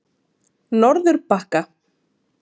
Norðurbakka